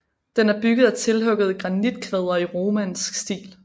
Den er bygget af tilhuggede granitkvadre i romansk stil